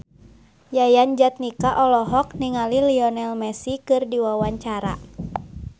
Yayan Jatnika olohok ningali Lionel Messi keur diwawancara